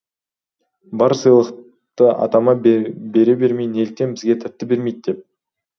бар сыйлықты атама бере бермей неліктен бізге тәтті бермейді деп